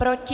Proti?